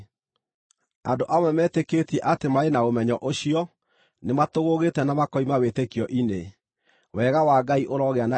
Andũ amwe metĩkĩtie atĩ marĩ na ũmenyo ũcio nĩmatũgũũgĩte na makoima wĩtĩkio-inĩ. Wega wa Ngai ũrogĩa na inyuĩ.